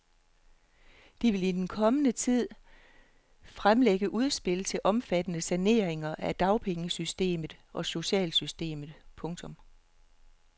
De vil i den kommende tid fremlægge udspil til omfattende saneringer af dagpengesystemet og socialsystemet. punktum